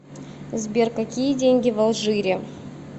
сбер какие деньги в алжире